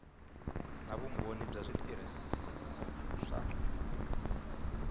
na vumbhoni wa switirhiso swa